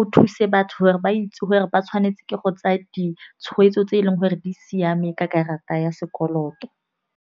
o thuse batho gore ba itse gore ba tshwanetse ke go tsaya ditshwetso tse e leng gore di siame ka karata ya sekoloto.